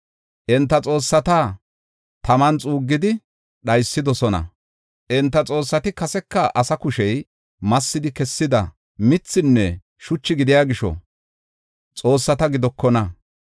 Enta xoossata taman xuuggidi dhaysidosona; Enta xoossati kaseka asa kushey massidi kessida mithinne shuchi gidiya gisho, xoossata gidokona.